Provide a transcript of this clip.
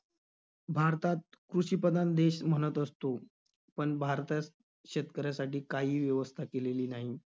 भारतात कृषिप्रधान देश म्हणत असतो, पण भारतात शेतकऱ्यासाठी काहीही व्यवस्था केलेली नाही.